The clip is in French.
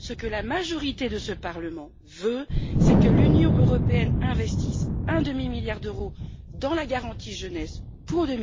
Ce que la majorité de ce Parlement veut, c'est que l'Union européenne investisse un demi milliard d'euros dans la garantie jeunesse pour